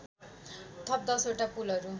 थप १० वटा पुलहरू